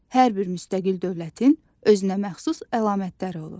Hər bir müstəqil dövlətin özünə məxsus əlamətləri olur.